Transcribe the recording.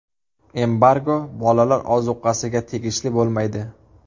Embargo bolalar ozuqasiga tegishli bo‘lmaydi.